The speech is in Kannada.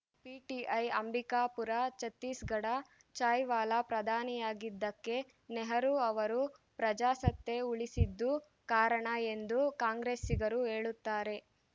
ಪಿಟಿಐ ಅಂಬಿಕಾಪುರ ಛತ್ತೀಸ್‌ಗಢ ಚಾಯ್‌ವಾಲಾ ಪ್ರಧಾನಿಯಾಗಿದ್ದಕ್ಕೆ ನೆಹರು ಅವರು ಪ್ರಜಾಸತ್ತೆ ಉಳಿಸಿದ್ದು ಕಾರಣ ಎಂದು ಕಾಂಗ್ರೆಸ್ಸಿಗರು ಹೇಳುತ್ತಾರೆ